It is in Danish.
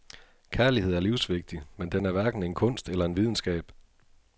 Kærlighed er livsvigtig, men den er hverken en kunst eller en videnskab.